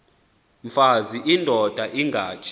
mfaz indod ingaty